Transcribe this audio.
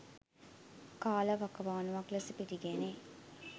කාලවකවානුවක් ලෙස පිළිගැනේ.